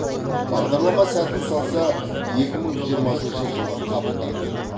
бағдарлама сәтін салса екі мың жиырмасыншы жылы қабылданады